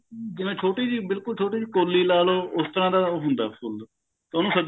ਜਿਵੇਂ ਛੋਟੀ ਜੀ ਬਿਲਕੁਲ ਛੋਟੀ ਜੀ ਕੋਲੀ ਲਾ ਲਓ ਉਸ ਤਰ੍ਹਾਂ ਦਾ ਹੁੰਦਾ ਫੁੱਲ ਉਹਨੂੰ